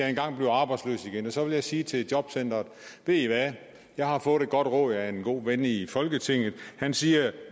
engang bliver arbejdsløs så vil jeg sige til jobcenteret ved i hvad jeg har fået et godt råd af en god ven i folketinget han siger at